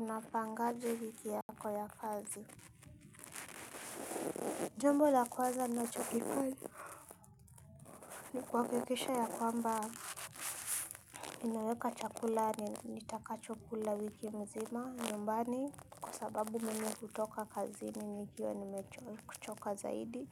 Unapangaje wiki yako ya kazi. Jambo la kwaza ninachokifanya ni kuhakikisha ya kwamba ninaweka chakula nitakachokula wiki mzima nyumbani kwa sababu mimi hutoka kazini nikiwa nimechoka zaidi.